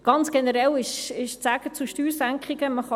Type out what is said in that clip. Ganz generell ist zu Steuersenkungen zu sagen: